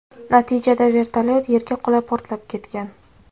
Natijada vertolyot yerga qulab, portlab ketgan.